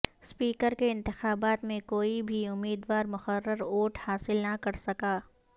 speaker کےانتخابات میں کوئی بھی امیدوارمقررہ ووٹ حاصل نہ کرسکا